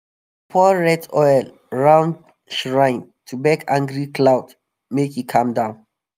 pour red oil round shrine to beg angry cloud make e calm down.